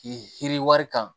K'i yiri wari kan